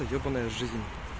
ебанная жизнь